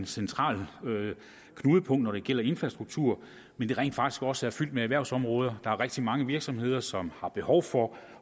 centrale knudepunkter når det gælder infrastruktur men rent faktisk også er fyldt med erhvervsområder der er rigtig mange virksomheder som har behov for